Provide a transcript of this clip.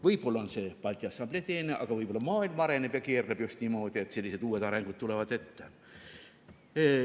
Võib-olla on see Balti Assamblee teene, aga võib olla maailm areneb ja keerleb just niimoodi, et selline uus areng tuleb ette.